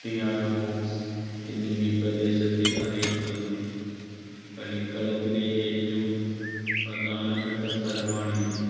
yard box എന്നും ഈ പ്രദേശത്തെ അറിയപ്പെടുന്നു. കളിക്കളത്തിലെ ഏറ്റവും പ്രധാനപ്പെട്ട സ്ഥലമാണിത്.